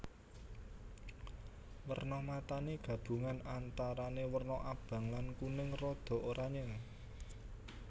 Werna matané gabungan antarané werna abang lan kuning rada oranyé